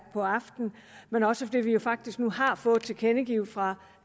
på aftenen men også fordi vi jo faktisk nu har fået tilkendegivet fra